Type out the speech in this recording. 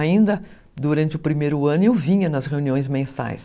Ainda durante o primeiro ano eu vinha nas reuniões mensais.